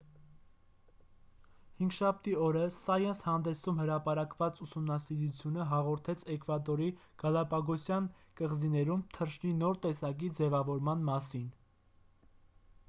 հինգշաբթի օրը սայընս հանդեսում հրապարակված ուսումնասիրությունը հաղորդեց էկվադորի գալապագոսյան կղզիներում թռչնի նոր տեսակի ձևավորման մասին